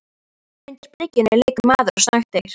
Undir bryggjunni liggur maður og snöktir.